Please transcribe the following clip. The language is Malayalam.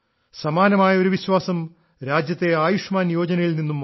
സമാനമായ ഒരു വിശ്വാസം രാജ്യത്തെ ആയുഷ്മാൻ യോജനയിൽ നിന്നും വന്നു